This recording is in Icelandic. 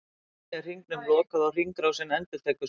Þannig er hringnum lokað og hringrásin endurtekur sig.